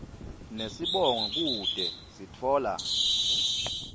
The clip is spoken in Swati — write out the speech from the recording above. nesibongo kute sitfola